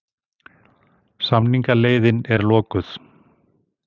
Samningaleiðin er lokuð